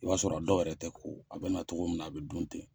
I y'a sɔrɔ a dɔw yɛrɛ te ko a be na togo min na a be dun ten